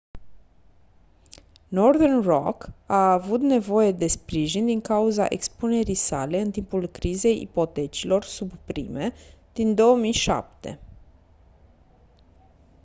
northern rock a avut nevoie de sprijin din cauza expunerii sale în timpul crizei ipotecilor subprime din 2007